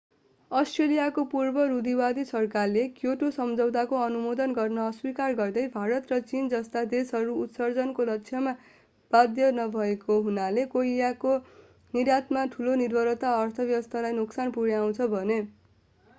अष्ट्रेलियाको पूर्व रूढीवादी सरकारले क्योटो सम्झौताको अनुमोदन गर्न अस्वीकार गर्दै भारत र चीन जस्ता देशहरू उत्सर्जनको लक्ष्यमा बाध्य नभएको हुनाले कोइलाको निर्यातमा ठूलो निर्भरताले अर्थव्यवस्थालाई नोक्सान पुर्‍याउँछ भने।